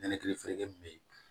Nɛnɛkili fere min bɛ yen